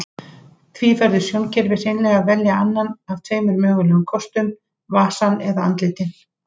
Því verður sjónkerfið hreinlega að velja annan af tveimur mögulegum kostum, vasann eða andlitin.